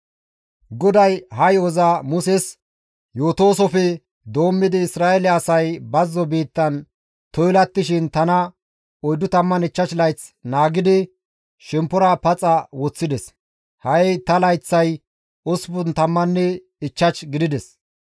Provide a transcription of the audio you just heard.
«GODAY ha yo7oza Muses yootoosoppe doommidi Isra7eele asay bazzo biittan toylattishin tana 45 layth naagidi shemppora paxa woththides; ha7i ta layththay 85 gidides.